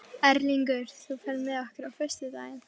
Erlingur, ferð þú með okkur á föstudaginn?